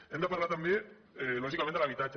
hem de parlar també lògicament de l’habitatge